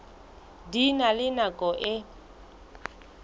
di na le nako e